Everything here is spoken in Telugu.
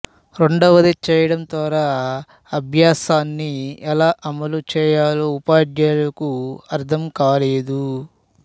రెండవది చేయడం ద్వారా అభ్యాసాన్ని ఎలా అమలు చేయాలో ఉపాధ్యాయులకు అర్థం కాలేదు